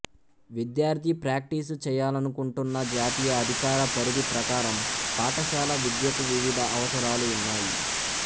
విద్యార్థి ప్రాక్టీస్ చేయాలనుకుంటున్న జాతీయ అధికార పరిధి ప్రకారం పాఠశాల విద్యకు వివిధ అవసరాలు ఉన్నాయి